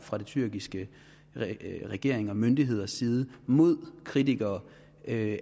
fra den tyrkiske regerings og myndigheders side mod kritikere